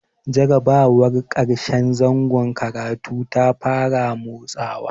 Jarrabawar ƙarshen zangon karatu ta fara matsowa.